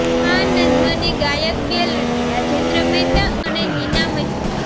આ નઝ્મની ગાયક બેલડી રાજેન્દ્ર મહેતા અને નીના મહેતા